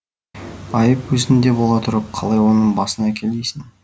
айып өзіңде бола тұрып қалай оның басын әкел дейсің